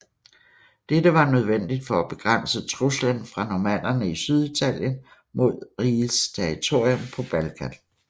Dette var nødvendigt for at begrænse truslen fra normannerne i Syditalien mod rigets territorium på Balkan